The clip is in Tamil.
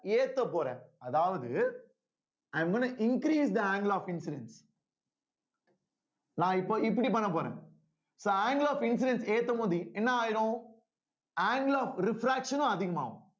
ஏத்தப் போறேன் அதாவது i am going to increase the angle of incidence நான் இப்ப இப்படி பண்ணப் போறேன் so angle of incidence ஏத்தும்போது என்ன ஆயிரும் angle of refraction உம் அதிகமாகும்